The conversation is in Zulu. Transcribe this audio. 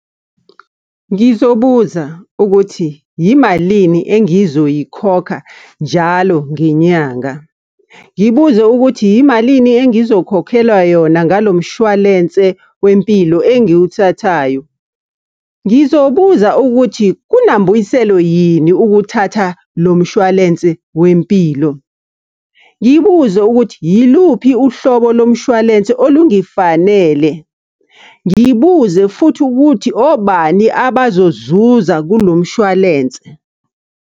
Ngizobuza ukuthi, yimalini engizoyikhokha njalo ngenyanga? Ngibuze ukuthi, yimalini engizokhokhelwa yona ngalo mshwalense wempilo engiwuthathayo? Ngizobuza ukuthi, kunambuyiselo yini ukuthatha lo mshwalense wempilo? Ngibuze ukuthi, yiluphi uhlobo lo mshwalense olungifanele? Ngibuze futhi ukuthi, obani abazozuza kulo mshwalense?